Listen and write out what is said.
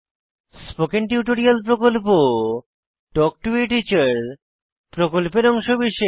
spoken tutorial প্রকল্প talk to a teacher প্রকল্পের অংশবিশেষ